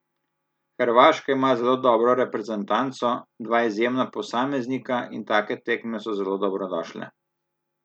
Hrvaška ima zelo dobro reprezentanco, dva izjemna posameznika in take tekme so zelo dobrodošle.